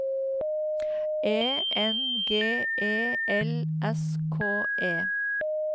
E N G E L S K E